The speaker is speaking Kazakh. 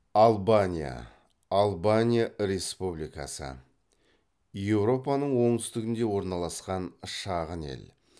албания албания республикасы еуропаның оңтүстігінде орналасқан шағын ел